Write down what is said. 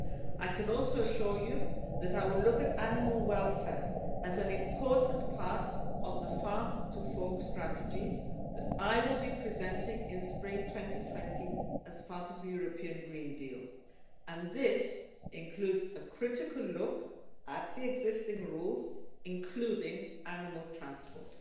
I can also assure you that I will look at animal welfare as an important part of the Farm to Fork Strategy that I will be presenting in spring 2020 as part of the European Green Deal, and this includes a critical look at the existing rules, including animal transport.